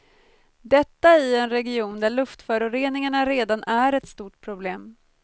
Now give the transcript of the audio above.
Detta i en region där luftföroreningarna redan är ett stort problem.